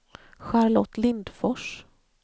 Charlotte Lindfors